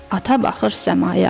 Ata baxır səmaya.